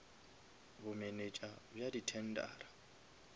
bomenetša bja di tendera